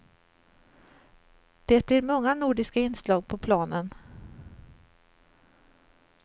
Det blir många nordiska inslag på planen.